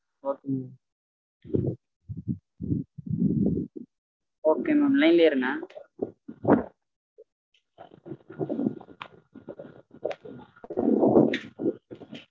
okay mam okay mamline லயே இருங்க